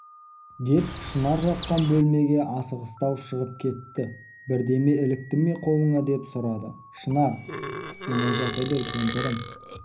деп шынар жатқан бөлмеге асығыстау шығып кетті бірдеме ілікті ме қолыңа деп сұрады шынар қысылмай жата бер кемпірім